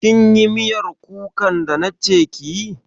Kin yi miyar kukan da na ce kiyi?